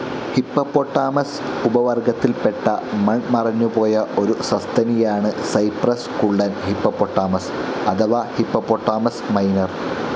Hippopotamus ഉപവർഗത്തിൽ പെട്ട മൺ മറഞ്ഞു പോയ ഒരു സസ്തനിയാണ് സൈപ്രസ് കുള്ളൻ ഹിപ്പോപൊട്ടാമസ്‌ അഥവാ ഹിപ്പോപൊട്ടാമസ്‌ മൈനർ.